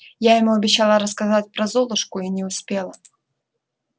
я ему обещала рассказать про золушку и не успела